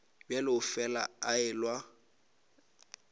bjalo o fela a elelwa